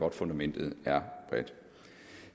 at fundamentet er bredt